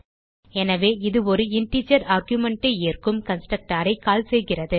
எனவே இது ஒரு இன்டிஜர் ஆர்குமென்ட் ஐ ஏற்கும் கன்ஸ்ட்ரக்டர் ஐ கால் செய்கிறது